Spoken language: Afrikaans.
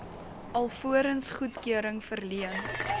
alvorens goedkeuring verleen